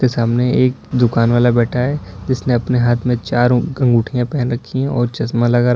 सामने एक दुकान वाला बैठा है जिसने अपने हाथ में चार अंगुठियाँ पहन रखी हैं और चश्मा लगा--